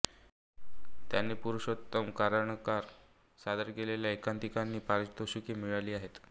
त्यांनी पुरुषोत्तम करंडकांत सादर केलेल्या एकांकिकांना पारितोषिके मिळाली आहेत